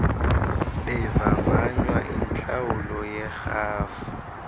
bevavanywa intlawulo yerhafu